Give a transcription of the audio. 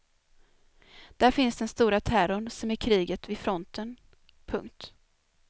Där finns den stora terrorn som är kriget vid fronten. punkt